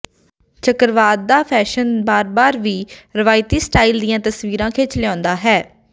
ਚੱਕਰਵਾਦ ਦਾ ਫੈਸ਼ਨ ਬਾਰ ਬਾਰ ਦੀ ਰਵਾਇਤੀ ਸਟਾਈਲ ਦੀਆਂ ਤਸਵੀਰਾਂ ਖਿੱਚ ਲਿਆਉਂਦਾ ਹੈ